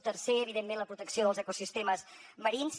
tercer evidentment la protecció dels ecosistemes marins